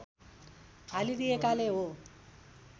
हालिदिएकाले हो